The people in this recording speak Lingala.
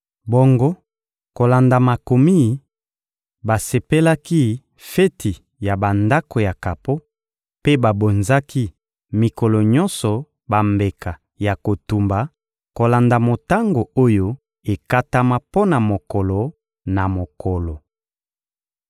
Bongo kolanda makomi, basepelaki feti ya Bandako ya kapo, mpe babonzaki mikolo nyonso bambeka ya kotumba kolanda motango oyo ekatama mpo na mokolo na mokolo.